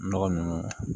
Nɔgɔ nunnu